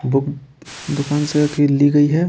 Book दुकान से ख की ली गई है।